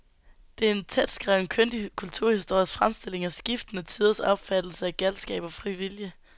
Det er en tætskrevet, kyndig kulturhistorisk fremstilling af skiftende tiders opfattelse af galskab og fri vilje.